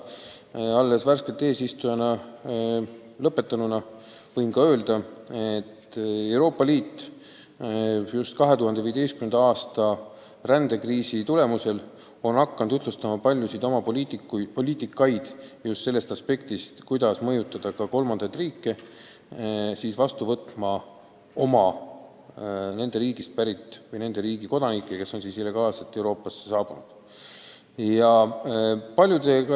Värskelt eesistumise lõpetanud riigi ministrina võin öelda ka seda, et Euroopa Liit on 2015. aasta rändekriisi tulemusel hakanud paljusid oma poliitikaid ühtlustama just sellest aspektist lähtudes, kuidas mõjutada kolmandaid riike tagasi võtma oma kodanikke ja sealt pärit isikuid, kes on illegaalselt Euroopasse saabunud.